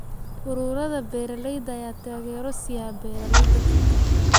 Ururada beeralayda ayaa taageero siiya beeralayda dalka.